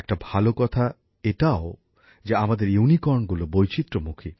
একটা ভালো কথা এটাও যে আমাদের ইউনিকর্নগুলো বৈচিত্র্যমুখী